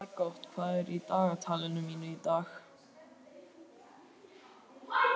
Margot, hvað er í dagatalinu mínu í dag?